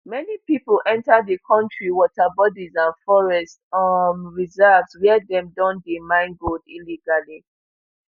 many pipo enta di kontri waterbodies and forest um reserves wia dem don dey mine gold illegally